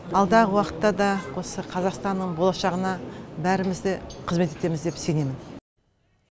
алдағы уақытта да осы қазақстанның болашағына бәріміз де қызмет етеміз деп сенемін